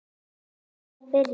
Er þetta að byrja?